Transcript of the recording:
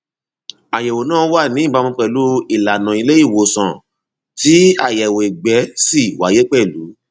àyẹwò náà wà ní ìbámu pẹlú ìlanà ilé ìwòsàn tí àyẹwò ìgbẹ si wáyé pẹlú